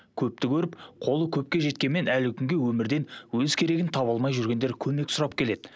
көпті көріп қолы көкке жеткенмен әлі күнге өмірден өз керегін таба алмай жүргендер көмек сұрап келеді